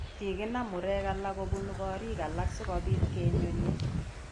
Kikinam murek alak kobun korik alak sikobit kiyon'ye